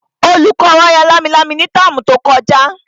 Olùkọ́ wa ya lámilámi ní táàmù tí ó kọjá